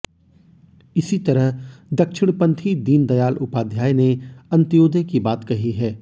इसी तरह दक्षिणपंथी दीनदयाल उपध्याय ने अंत्योदय की बात कही है